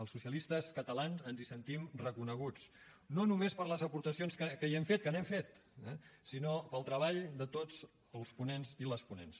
els socialistes catalans ens hi sentim reconeguts no només per les aportacions que hi hem fet que n’hem fet eh sinó pel treball de tots els ponents i les ponents